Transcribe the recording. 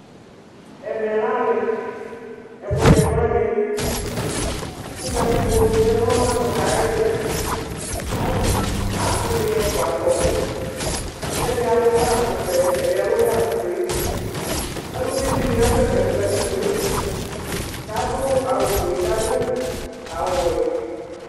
ɛmɛ lɛ alo, ɛkutɛ du aliɛli, ku katikpo ya nu ɛkutɛ ayu ili, asi dini ɛfʋa atu ɔbɛ, ku ɛdi alu ganu vɛ, ɛdi alu ganu fue, aluvi dini asɛsɛ nu katikpoe ku adu awu fue ku adu awu wɛ